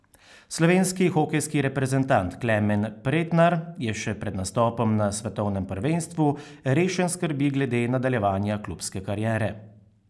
Slovenski hokejski reprezentant Klemen Pretnar je še pred nastopom na svetovnem prvenstvu rešen skrbi glede nadaljevanja klubske kariere.